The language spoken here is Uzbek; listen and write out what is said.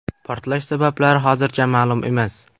Portlash sabablari hozircha ma’lum emas.